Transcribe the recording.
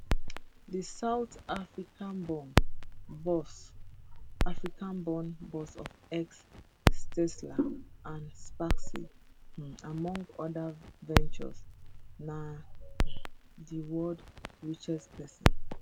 di south africaborn boss africaborn boss of x tesla and spacex um among oda ventures na um di world richest pesin